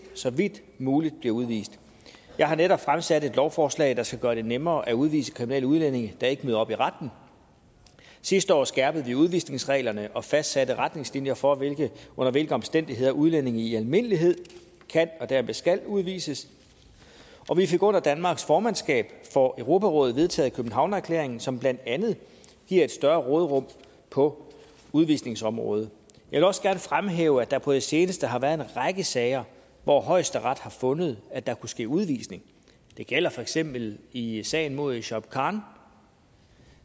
så vidt muligt bliver udvist jeg har netop fremsat et lovforslag der skal gøre det nemmere at udvise kriminelle udlændinge der ikke møder op i retten sidste år skærpede vi udvisningsreglerne og fastsatte retningslinjer for under hvilke omstændigheder udlændinge i almindelighed kan og dermed skal udvises og vi fik under danmarks formandskab for europarådet vedtaget københavnererklæringen som blandt andet giver et større råderum på udvisningsområdet jeg vil også gerne fremhæve at der på det seneste har været en række sager hvor højesteret har fundet at der kunne ske udvisning det gælder for eksempel i sagen mod shuaib khan